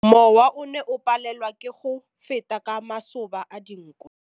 Mowa o ne o palelwa ke go feta ka masoba a dinko.